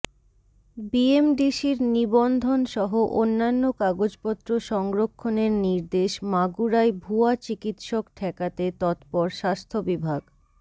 বিএমডিসির নিবন্ধনসহ অন্যান্য কাগজপত্র সংরক্ষণের নির্দেশ মাগুরায় ভুয়া চিকিৎসক ঠেকাতে তৎপর স্বাস্থ্য বিভাগ